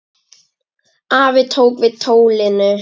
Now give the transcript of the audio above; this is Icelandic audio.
Afi tók við tólinu.